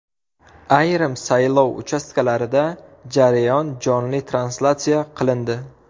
Ayrim saylov uchastkalarida jarayon jonli translyatsiya qilindi .